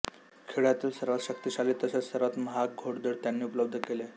खेळातील सर्वांत शक्तिशाली तसेच सर्वांत महाग घोडदळ त्यांना उपलब्ध आहे